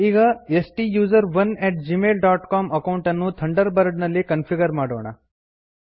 ಈಗ stuserone at Gmail dot C O M account ಅನ್ನು Thunderbird ನಲ್ಲಿ ಕನ್ಫಿಗರ್ ಮಾಡೋಣ